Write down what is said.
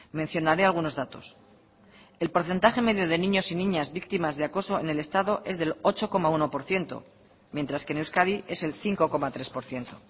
mencionaré algunos datos el porcentaje medio de niños y niñas víctimas de acoso en el estado es del ocho coma uno por ciento mientras que en euskadi es el cinco coma tres por ciento